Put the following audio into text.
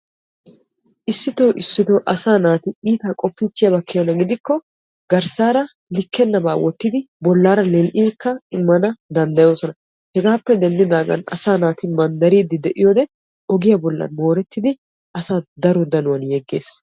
Issitto issitto asaa naati iitta qoppikko garssara likkenaba wottiddi bollara lo'obba wotosonna. Hegappe deddaga manddaran daro danuwan yegees.